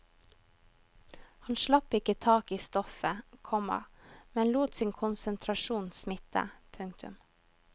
Han slapp ikke taket i stoffet, komma men lot sin konsentrasjon smitte. punktum